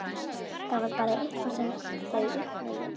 Þetta var bara eitthvað sem þau upplifðu.